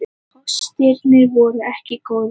Kostirnir voru ekki góðir.